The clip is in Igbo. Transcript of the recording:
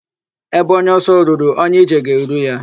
Ebe onye ọsọ ruru, onye ije ga-eru ya.